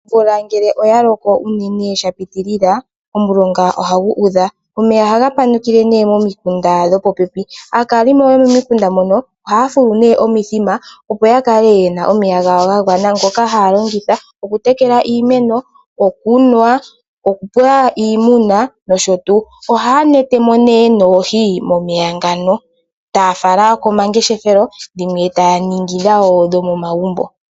Ombula ngele oya loko unene sha pitilila, omulunga ohagu udha. Omeya ohaga panukile nee momikunda dho popepi. Aakalimo yo momikunda mono, ohaya fulu nee omithima opo ya kale yena omeya gawo ga gwana. Ngoka haya longitha okutekela iimeno, okunwa, okupa iimuna nosho tuu. Ohaya netemo nee noohi momeya ngano, taya fala komangeshefelo. Dhimwe taya ningi dhawo dho momagumbo.